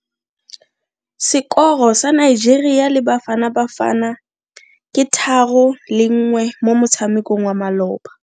Sekoro sa Nigeria le Bafanabafana ke 3-1 mo motshamekong wa maloba.